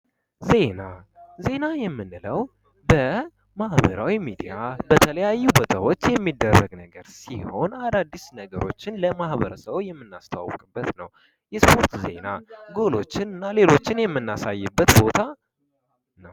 ዜና፤ ዜና የምንለው በማህበራዊ ሚዲያ በተለያዩ በሰዎች የሚደረግ ነገር ሲሆን አዳዲስ ነገሮችን ለማበረሰቡ የምናስተዋወቅበት ነው። የሰዎች ዜና ጎኖችና ሌሎችንም እናሳይበት ቦታ ነው።